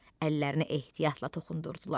Əllərini ehtiyatla toxundurdular.